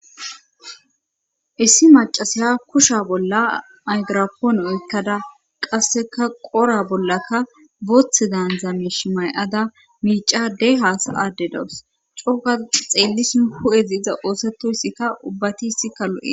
issi macasaya kusha bolla aygirapoon oykkada qasseka qora bollakka boothe daandzame shimay7ada miicade haasa adde dowus cooka xeellis nu hu7ezi iza oosatoyssikka ubbati issi kalo7e